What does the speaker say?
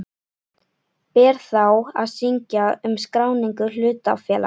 Ber þá að synja um skráningu hlutafélags.